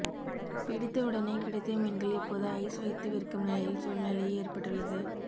பிடித்த உடனே கிடைத்த மீன்கள் இப்போது ஐஸ் வைத்து விற்கும் நிலையில் சூழ்நிலை ஏற்பட்டுள்ளது